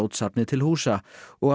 safnið til húsa og á